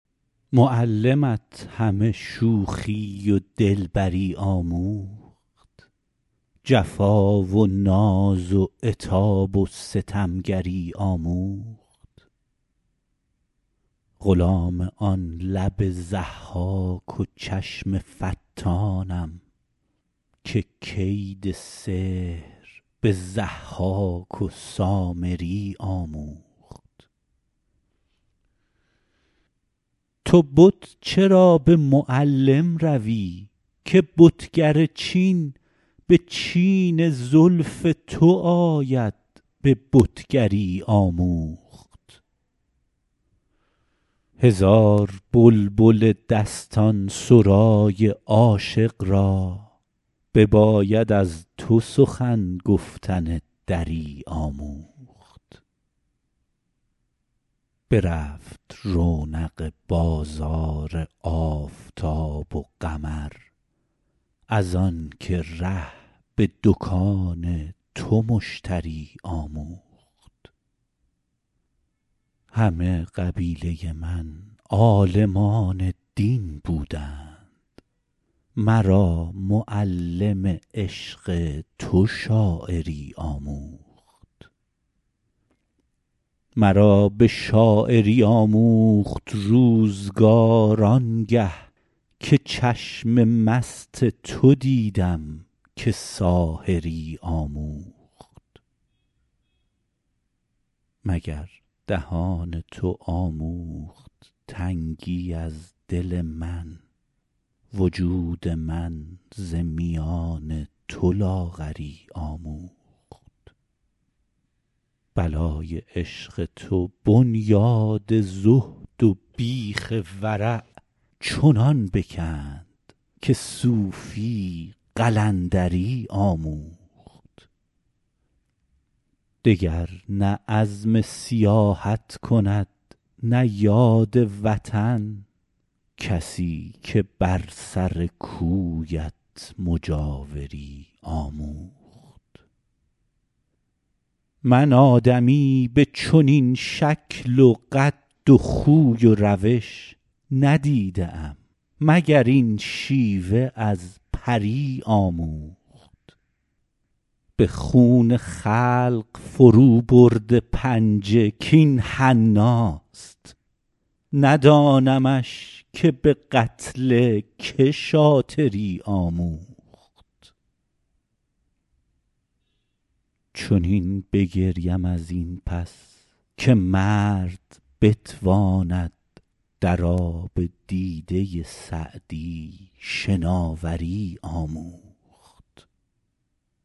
معلمت همه شوخی و دلبری آموخت جفا و ناز و عتاب و ستمگری آموخت غلام آن لب ضحاک و چشم فتانم که کید سحر به ضحاک و سامری آموخت تو بت چرا به معلم روی که بتگر چین به چین زلف تو آید به بتگری آموخت هزار بلبل دستان سرای عاشق را بباید از تو سخن گفتن دری آموخت برفت رونق بازار آفتاب و قمر از آن که ره به دکان تو مشتری آموخت همه قبیله من عالمان دین بودند مرا معلم عشق تو شاعری آموخت مرا به شاعری آموخت روزگار آن گه که چشم مست تو دیدم که ساحری آموخت مگر دهان تو آموخت تنگی از دل من وجود من ز میان تو لاغری آموخت بلای عشق تو بنیاد زهد و بیخ ورع چنان بکند که صوفی قلندری آموخت دگر نه عزم سیاحت کند نه یاد وطن کسی که بر سر کویت مجاوری آموخت من آدمی به چنین شکل و قد و خوی و روش ندیده ام مگر این شیوه از پری آموخت به خون خلق فروبرده پنجه کاین حناست ندانمش که به قتل که شاطری آموخت چنین بگریم از این پس که مرد بتواند در آب دیده سعدی شناوری آموخت